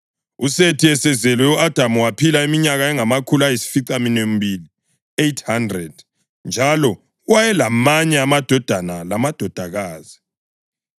USethi esezelwe, u-Adamu waphila iminyaka engamakhulu ayisificaminwembili (800) njalo wayelamanye amadodana lamadodakazi.